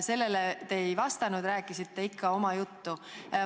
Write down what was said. Sellele te ei vastanud, rääkisite oma juttu.